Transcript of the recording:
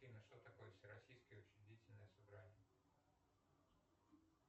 афина что такое всероссийское учредительное собрание